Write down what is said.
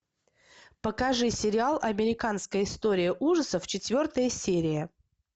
покажи сериал американская история ужасов четвертая серия